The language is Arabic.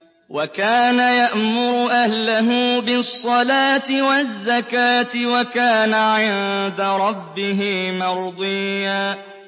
وَكَانَ يَأْمُرُ أَهْلَهُ بِالصَّلَاةِ وَالزَّكَاةِ وَكَانَ عِندَ رَبِّهِ مَرْضِيًّا